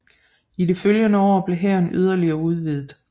I de følgende år blev hæren yderligere udvidet